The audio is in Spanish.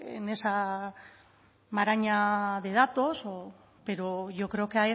maraña de datos pero yo creo que